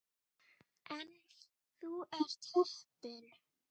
En þú ert heppinn.